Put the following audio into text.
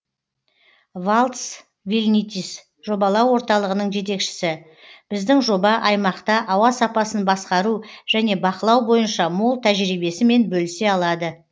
валтс вилнитис жобалау орталығының жетекшісі біздің жоба аймақта ауа сапасын басқару және бақылау бойынша мол тәжірибесімен бөлісе алады